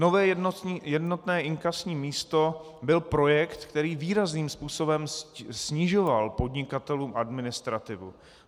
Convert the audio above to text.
Nové jednotné inkasní místo byl projekt, který výrazným způsobem snižoval podnikatelům administrativu.